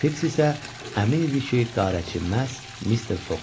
Fiks isə əmin idi ki, qarətçi məhz Mister Foqdur.